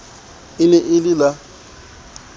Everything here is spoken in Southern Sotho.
e ne e le la